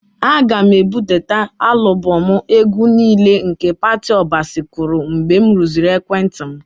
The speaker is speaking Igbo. Aga m ebudata alụbọmụ egwu niile nke Patty Obasi kụrụ mgbe m rụziri ekwentị m.